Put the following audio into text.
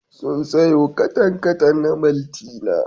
Sun sayo katan-katan na maltina.